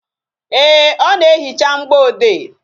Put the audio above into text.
Ee, ọ na-ehicha mgboede